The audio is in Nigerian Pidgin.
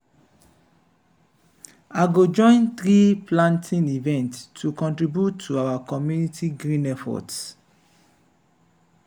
i go join tree-planting events to contribute to our community’s green efforts.